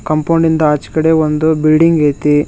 Compound ಇಂದ ಆಚ್ ಕಡೆ ಒಂದು ಬಿಲ್ಡಿಂಗ್ ಐತಿ.